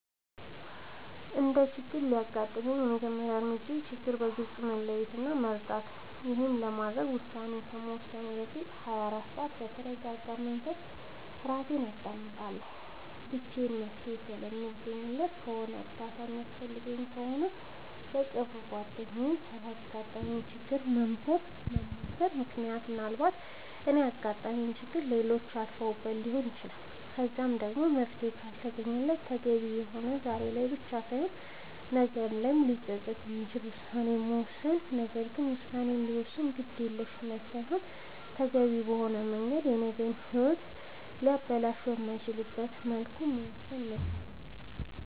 አንድ ችግር ሲያጋጥመኝ የመጀመሪያ እርምጃዬ ችግሩን በግልፅ መለየት እና መረዳት ነዉ ይሄንንም ለማድረግ ውሳኔ ከመወሰኔ በፊት ለ24 ሰዓት በተርጋጋ መንፈስ እራሴን አዳምጣለሁ ብቻዬን መፍትሄ የማለገኝለት ከሆነና እርዳታ የሚያስፈልገኝ ከሆነ ለቅርብ ጓደኛዬ ስላጋጠመኝ ችግር ማማከር ምክንያቱም ምናልባት እኔ ያጋጠመኝን ችግር ሌሎች አልፈውበት ሊሆን ይችላል በዚህም ደግሞ መፍትሄ ካልተገኘለት ተገቢ የሆነና ዛሬ ላይ ብቻ ሳይሆን ነገ ላይም ሊፀፅት የማይችል ውሳኔን መወሰን ነገር ግን ውሳኔ ሲወሰን በግዴለሽነት ሳይሆን ተገቢውን በሆነ መንገድ የነገ ሂወትን ሊያበላሽ በማይችልበት መልኩ መወሰን መቻል ነዉ